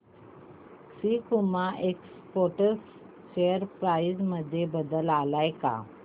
सकुमा Exports share price मध्ये बदल आलाय का